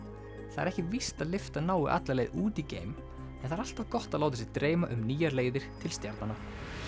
það er ekki víst að lyftan nái alla leið út í geim en það er alltaf gott að láta sig dreyma um nýjar leiðir til stjarnanna